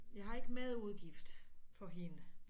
Jeg har ikke madudgift for hende